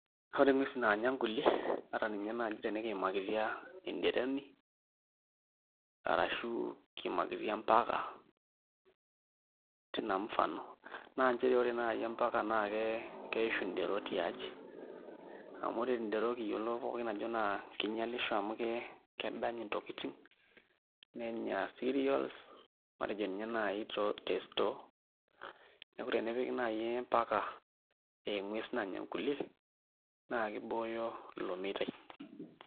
Ore nguesin naanya nkulie ata ninye naai tenikiamakitia enderoni ashu empaka tina mfano naa nchere ore naai empaka naa ke keishu ndero tiaji amu ore ndero kiyiolo pookin ajo naa kinyialisho amu kedanya ntokitin nenya cereals matejo ninye naai te store neeku tenepiki naai empaka aa engues nanya nkulie naa kibooyo ilo meitai.